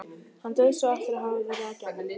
Hann dauðsá eftir að hafa verið að gjamma.